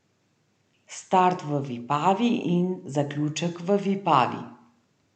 Start v Vipavi in zaključek v Vipavi.